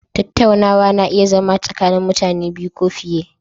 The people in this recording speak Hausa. Tattaunawa na iya zama tsakanin mutane biyu ko fiye